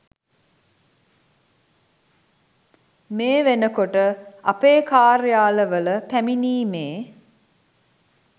මේ වෙනකොට අපේ කාර්යාලවල පැමිණීමේ